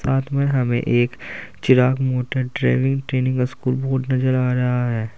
साथ में हमें एक Chirag motor driving training school board नजर आ रहा है।